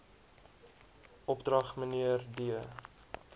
opdrag mnr d